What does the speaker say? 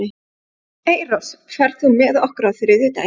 Eyrós, ferð þú með okkur á þriðjudaginn?